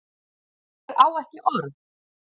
Ég á ekki orð